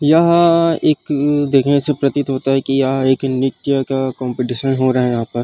यहाँ एक देखने से प्रतित होता है की यहाँ एक नृत्य का कम्पटीशन हो रहा है यहाँ पर --